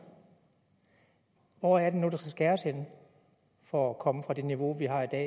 hvor er det nu der skal skæres henne for at komme fra det niveau